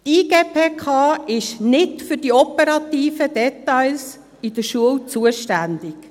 Die IGPK ist nicht für die operativen Details der Schule zuständig.